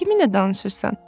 Kiminlə danışırsan?